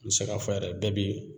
N bi se k'a fɔ yɛrɛ bɛɛ bi